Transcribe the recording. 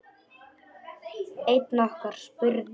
Einn okkar spurði